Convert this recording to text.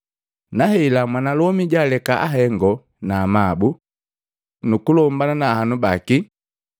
Na hela mwanalomi jaaleka ahengo na amabu nukulombana na ahanu bake,